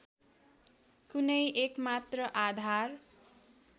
कुनै एकमात्र आधार